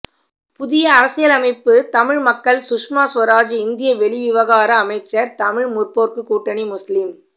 புதிய அரசியலமைப்பு தமிழ் மக்கள் சுஷ்மா சுவராஜ் இந்திய வெளிவிவகார அமைச்சர் தமிழ் முற்போக்கு கூட்டணி முஸ்லிம்